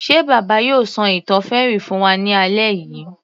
Ṣe bàbá yóò ṣọ ìtàn fairy fún wa ní alẹ́ yìí